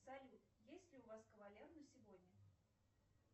салют есть ли у вас кавалер на сегодня